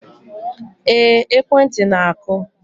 Ee, ekwentị na-akụ